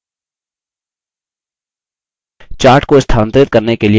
chart को स्थानांतरित करने के लिए पहले chart पर click करें